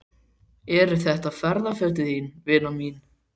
Eru þetta ferðafötin þín, vina mín?